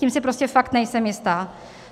Tím si prostě fakt nejsem jistá.